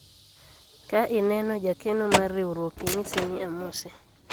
ka ineno jakeno mar riwruok inyise ni amose